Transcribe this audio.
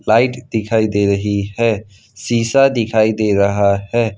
Light दिखाई दे रही है शिशा दिखाई दे रहा है।